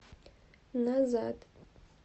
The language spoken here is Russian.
назад